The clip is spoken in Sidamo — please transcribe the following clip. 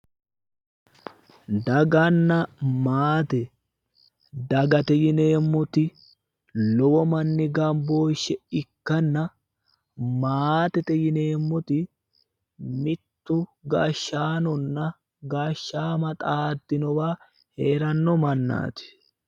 Daaganna maate, dagate yineemmoti lowo manni gambooshshe ikkanna maatete yineemmoti mittu hashshaanonna gashshaama xaaddinowa heeranno mannaati.